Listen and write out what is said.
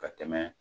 Ka tɛmɛ